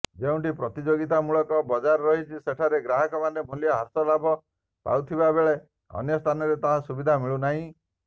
ଯେଉଁଠି ପ୍ରତିଯୋଗିତାମୂଳକ ବଜାର ରହିଛି ସେଠାରେ ଗ୍ରାହକମାନେ ମୂଲ୍ୟ ହ୍ରାସର ଲାଭ ପାଉଥିବାବେଳେ ଅନ୍ୟ ସ୍ଥାନରେ ତାହା ସୁବିଧା ମିଳୁନାହିଁ